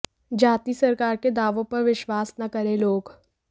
जाती सरकार के दावों पर विश्वास न करें लोग